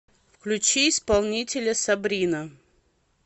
включи исполнителя сабрина